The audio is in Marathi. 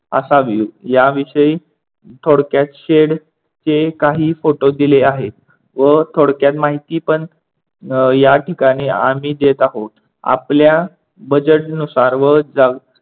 असावी? या विषयी थोडक्यात शेडचे काही फोटो दिले आहेत व थोडक्यात माहिती पण अह या ठिकाणी आम्ही देत आहोत. आपल्या budget नुसार व